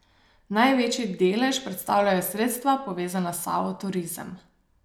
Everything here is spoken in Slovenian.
Največji delež predstavljajo sredstva, povezana s Savo Turizem.